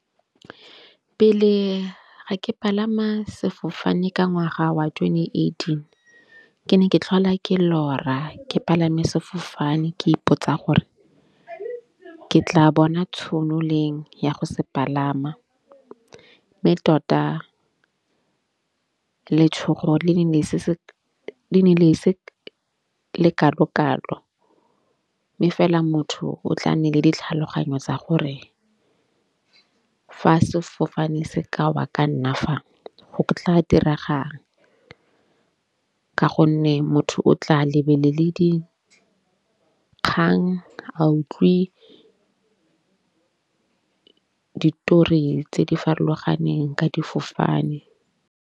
Pele ga ke palama sefofane ka ngwaga wa twenty eighteen, ke ne ke tlhola ke lora ke palame sefofane ke ipotsa gore ke tla bona tšhono leng ya go se palama. Mme tota letshogo le ne se se le ne le se lekalokalo. Efela motho o tla nne le ditlhaloganyo tsa gore fa sefofane se ka wa ka nna fa go tla tiragang? Ka gonne motho o tla lebelele dikgang a utlwe ditori tse di farologaneng ka difofane.